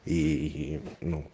и ну